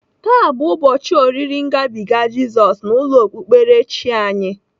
Taa bụ ụbọchị oriri ngabiga Jizọs n'ụlọ okpukperechi anyị.